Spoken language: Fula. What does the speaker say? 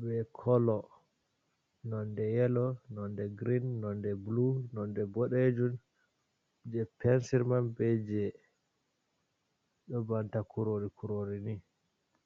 ɓe kolo nonɗe yelo, nonɗe green, nonɗe blu, nonɗe boɗejun. je pensir man ɓe je ɗo banta kurori-kurori ni.